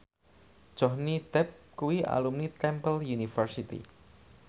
Johnny Depp kuwi alumni Temple University